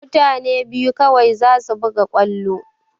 Mutun biyu kawai zasu buga kwallo